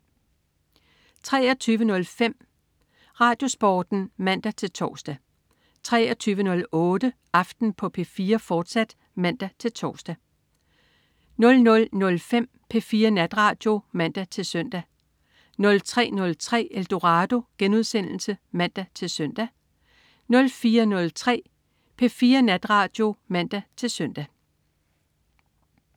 23.05 RadioSporten (man-tors) 23.08 Aften på P4, fortsat (man-tors) 00.05 P4 Natradio (man-søn) 03.03 Eldorado* (man-søn) 04.03 P4 Natradio (man-søn)